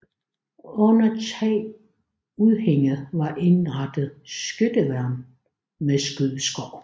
Under tagudhænget var indrettet skytteværn med skydeskår